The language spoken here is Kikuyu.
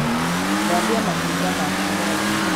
Thambia matunda maku mothe.